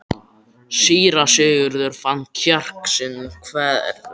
Síra Sigurður fann kjark sinn þverra.